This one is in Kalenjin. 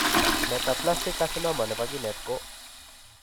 Metaplastic carcinoma nebo kinet ko